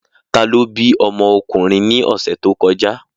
Ta ló bí ọmọ ọkùnrin ní ọ̀sẹ̀ tó kọjá?